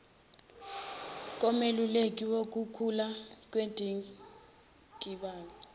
komeluleki wukukhula kwendikibalo